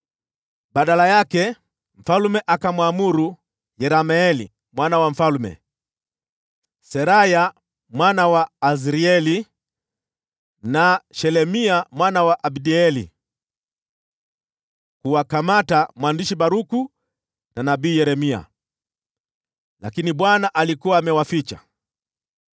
Badala yake, mfalme akamwamuru Yerameeli, mwana wa mfalme, Seraya mwana wa Azrieli, na Shelemia mwana wa Abdeeli kuwakamata mwandishi Baruku na nabii Yeremia. Lakini Bwana alikuwa amewaficha.